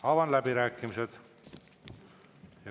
Avan läbirääkimised.